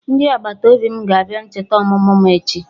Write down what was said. Ndị agbataobi m ga-abịa ncheta ọmụmụ m echi